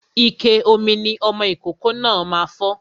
Ike ìmu mi ọmọ ìkókó náà máa fọ́